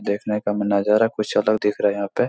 देखने का म नजारा कुछ अलग दिख रहा है यहाँ पे --